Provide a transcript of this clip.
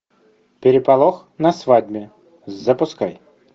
переполох на свадьбе запускай